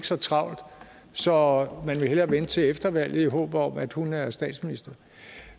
så travlt så man vil hellere vente til efter valget i håb om at hun er statsminister